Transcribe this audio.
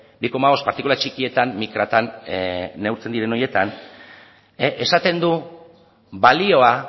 bi koma bost partikula txikietan mikratan neurtzen diren horietan esaten du balioa